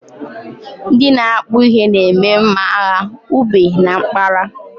Ndị na akpu ihe na-eme mma agha ube na mkpara